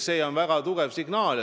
See on väga tugev signaal.